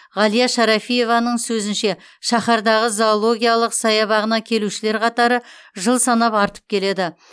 ғалия шарафиеваның сөзінше шаһардағы зоологиялық саябағына келушілер қатары жыл санап артып келеді